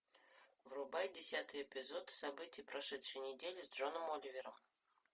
врубай десятый эпизод события прошедшей недели с джоном оливером